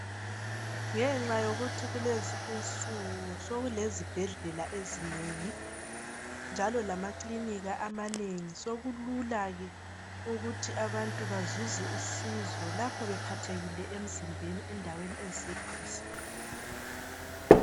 Ngenxa yokuthi kulezi insuku sokukelezibhedlela ezinengi njalo lamaklinika amanengi sokulula ke ukuthi abantu bazuze usizo lapho bephathekile emzimbeni endaweni eziseduze